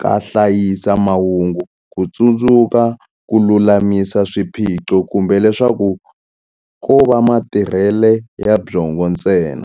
ka hlayisa mahungu, kutsundzuka, kululamisa swiphiqo, kumbe leswaku kova matirhele ya byongo ntsena.